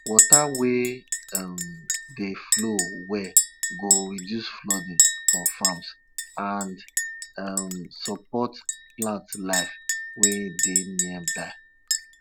dem dey get sense fof farm matter because dem dey show early and dem dey follow wetin dem tell dem for farm